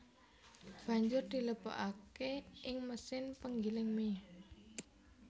Banjur dilebokaké ing mesin penggiling mie